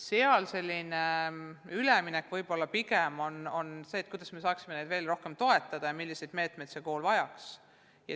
Üleminekul võiks pigem mõelda, kuidas me saaksime neid veel rohkem toetada ja milliseid meetmeid vene koolid vajaks.